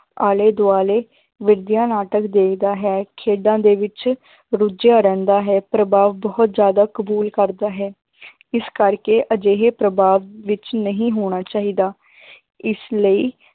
ਆਲੇ ਦੁਆਲੇ ਵਧੀਆ ਨਾਟਕ ਦੇਖਦਾ ਹੈ, ਖੇਡਾਂ ਦੇ ਵਿੱਚ ਰੁਝਿਆ ਰਹਿੰਦਾ ਹੈ, ਪ੍ਰਭਾਵ ਬਹੁਤ ਜ਼ਿਆਦਾ ਕਬੂਲ ਕਰਦਾ ਹੈ ਇਸ ਕਰਕੇ ਅਜਿਹੇ ਪ੍ਰਭਾਵ ਵਿੱਚ ਨਹੀਂ ਹੋਣਾ ਚਾਹੀਦਾ ਇਸ ਲਈ